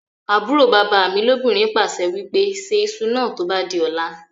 àbúrò bàbá mi lóbìnrin pàṣẹ wípé "Ṣe ìṣù náà tó bá di ọ̀la